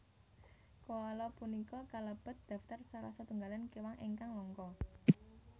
Koala punika kalebet daftar salah setunggaling kéwan ingkang langka